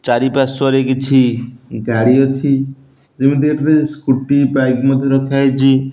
ଚାରିପାର୍ଶ୍ବରେ କିଛି ଗାଡି ଅଛି ସ୍କୁଟି ବାଇକ ମଧ୍ଯ ରଖାହେଇଚି।